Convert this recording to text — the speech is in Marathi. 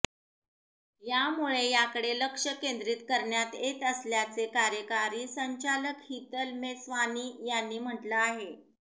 यामुळे याकडे लक्ष केंद्रीत करण्यात येत असल्याचे कार्यकारी संचालक हितल मेस्वानी यांनी म्हटलं आहे